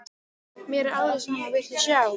Mér er alveg sama, viltu sjá?